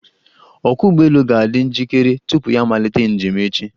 Ọkwọ́ ụgbọelu ga-adị njikere tupu ya amalite njem echi.